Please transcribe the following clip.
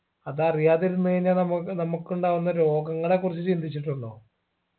അതറിയാതിരുന്ന് കഴിഞ്ഞ നമക് നമ്മുക്ക് ഉണ്ടാകുന്ന രോഗങ്ങളെ കുറിച്ച് ചിന്തിച്ചിട്ടുണ്ടോ